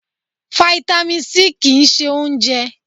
Fáítámì C kì ń ṣe oúnjẹ.